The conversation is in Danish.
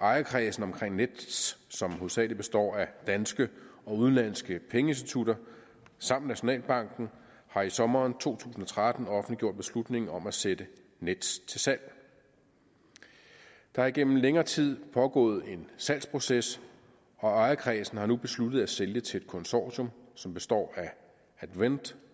ejerkredsen omkring nets som hovedsagelig består af danske og udenlandske pengeinstitutter samt nationalbanken har i sommeren to tusind og tretten offentliggjort beslutningen om at sætte nets til salg der har igennem længere tid pågået en salgsproces og ejerkredsen har nu besluttet at sælge til et konsortium som består af advent